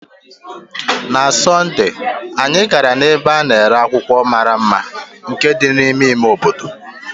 Na Sọnde, anyị gara n'ebe a na-ere akwụkwọ mara mma nke dị n'ime ime obodo.